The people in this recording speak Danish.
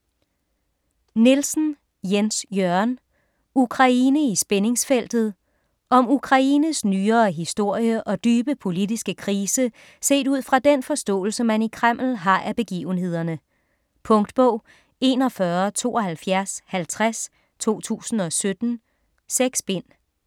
Nielsen, Jens Jørgen: Ukraine i spændingsfeltet Om Ukraines nyere historie og dybe politiske krise set ud fra den forståelse, man i Kreml har af begivenhederne. Punktbog 417250 2017. 6 bind.